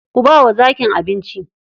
Ku bawa zakin abinci.